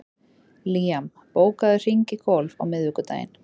Liam, bókaðu hring í golf á miðvikudaginn.